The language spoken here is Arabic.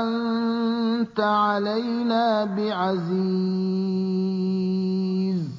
أَنتَ عَلَيْنَا بِعَزِيزٍ